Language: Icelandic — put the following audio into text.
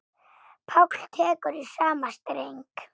Páll tekur í sama streng.